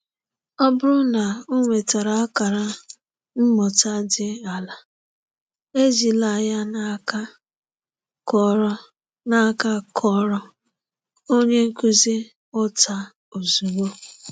Ọ bụrụ na ọ nwetara akara mmụta dị ala, ejila n’aka kụọrọ n’aka kụọrọ onye nkuzi ụta ozugbo.